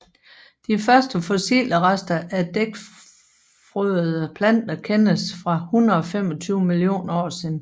De første fossile rester af dækfrøede planter kendes fra 125 millioner år siden